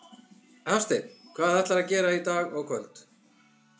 Hafsteinn: Hvað ætlarðu að gera í dag og í kvöld?